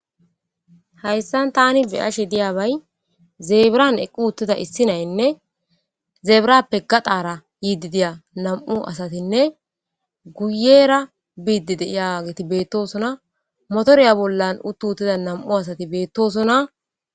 Hayssan tani beyashe diyabay zeebiran equ uttida issi naynne zeebrappe gaxaara yiidi diya nam'u asatinne guyera biidi diyageti beettosona motoriya bollan uttu uttida nam'u asati beettosona.